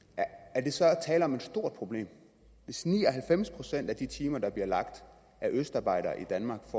er der så tale om et stort problem hvis ni og halvfems procent af de timer der bliver lagt af østarbejdere i danmark